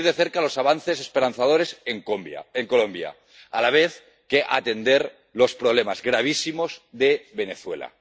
seguir de cerca los avances esperanzadores en Colombia, a la vez que atender los problemas gravísimos de Venezuela.